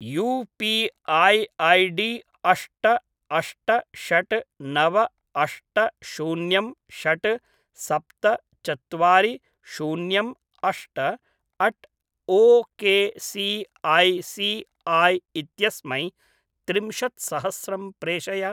UPI ID अष्ट अष्ट षट् नव अष्ट शून्यं षट् सप्त चत्वारि शून्यम् अष्ट at O K C I C I इत्यस्मै त्रिंशत्सहस्रं प्रेषय।